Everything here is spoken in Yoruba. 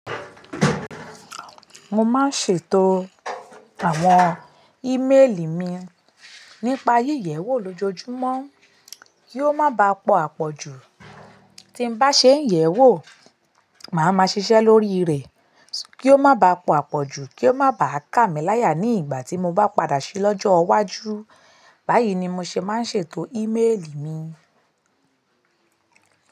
Mo má ń ṣètò àwọn emaili mi nípa lójojúmọ́ kí ó mo bá pọ̀ àpọ̀jù. Tí n bá ṣe ń yẹ̀wò, màá ma ṣiṣẹ́ lórí rẹ̀ kí ó má ba à pọ̀ àpọ̀jù, kí ó má ba à kà mí láyà ní ìgbà tí mo bá padà ṣe lọ́jọ́ ìwájú. Báyìí ni mo ṣe máa ń ṣètò íméèlì mi.